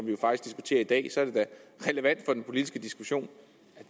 jo faktisk i dag så er det da relevant for den politiske diskussion